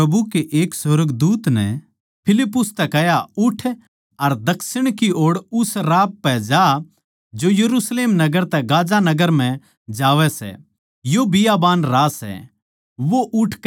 फेर प्रभु कै एक सुर्गदूत नै फिलिप्पुस तै कह्या उठ अर दक्षिण की ओड़ उस राह पै जा जो यरुशलेम नगर तै गाज़ा नगर म्ह जावै सै यो बियाबान राह सै